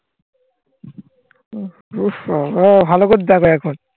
উফ বাবা ভালো করে দেখো এখন.